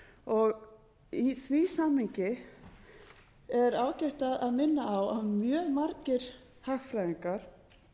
fjárfestingu í því samhengi er ágætt að minna á að mjög margir hagfræðingar